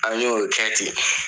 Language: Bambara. A y'o kɛ ten